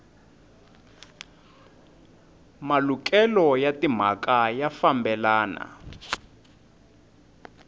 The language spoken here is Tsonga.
malukelo ya timhaka ya fambelana